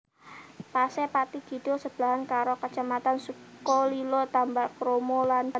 Pase Pathi Kidul sebelahan karo kacamatan Sukolilo Tambakromo lan Gabus